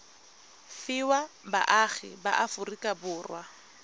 fiwa baagi ba aforika borwa